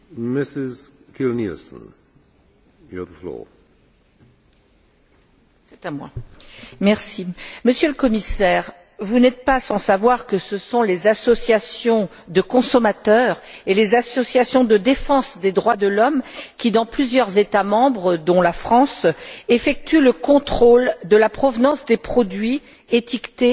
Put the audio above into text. Monsieur le Président, Monsieur le Commissaire, vous n'êtes pas sans savoir que ce sont les associations de consommateurs et les associations de défense des droits de l'homme qui, dans plusieurs États membres, dont la France, effectuent le contrôle de la provenance des produits étiquetés